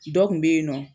Dɔ kun be yen nɔ